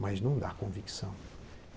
Mas não dá convicção.